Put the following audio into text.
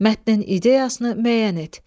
Mətnin ideyasını müəyyən et.